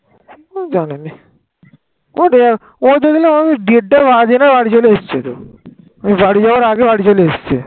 ওতো ডেটটা বাজনা বাড়ি চলে আসছে তো বাড়ি যাবার আগে বাড়ি চলে এসেছে